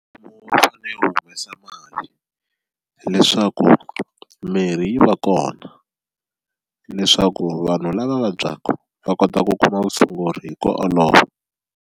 U fanele wu humesa mali hileswaku mirhi yi va kona leswaku vanhu lava va vabyaka va kota ku kuma vutshunguri hi ku olova.